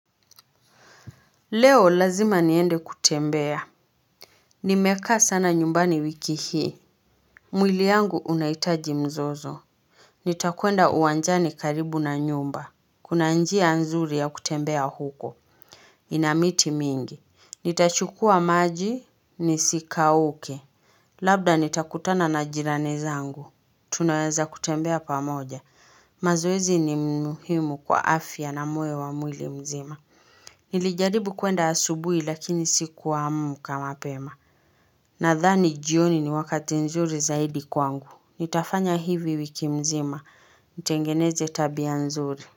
Leo lazima niende kutembea. Nimeka sana nyumbani wiki hii. Mwili yangu unaitaji mzozo. Nita kwenda uwanjani karibu na nyumba. Kuna njia nzuri ya kutembea huko. Inamiti mingi. Nitachukua maji, nisi kauke. Labda nitakutana na jirani zangu. Tunaweza kutembea pamoja. Mazowezi ni muhimu kwa afya na moyo wa mwili mzima. Nilijaribu kwenda asubui lakini siku amuka mapema Nathani jioni ni wakati nzuri zaidi kwangu Nitafanya hivi wiki mzima Ntengeneze tabia nzuri.